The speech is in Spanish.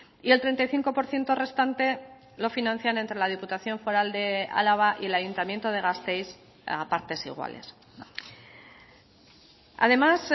y el treinta y cinco por ciento restante lo financian entre la diputación foral de álava y el ayuntamiento de gasteiz a partes iguales además